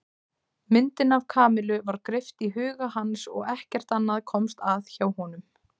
Myndin af Kamillu var greipt í huga hans og ekkert annað komst að hjá honum.